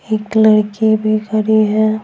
एक लड़की भी खड़ी है।